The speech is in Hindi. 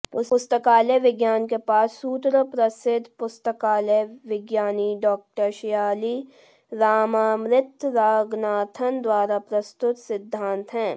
पुस्तकालय विज्ञान के पाँच सूत्र प्रसिद्ध पुस्तकालयविज्ञानी डॉ शियाली रामामृत रंगनाथन द्वारा प्रस्तुत सिद्धान्त हैं